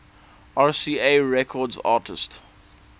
rca records artists